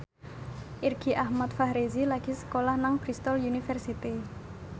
Irgi Ahmad Fahrezi lagi sekolah nang Bristol university